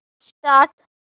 start